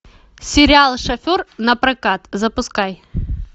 сериал шофер напрокат запускай